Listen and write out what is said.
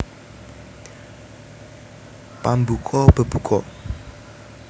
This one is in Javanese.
Pambuka bebuka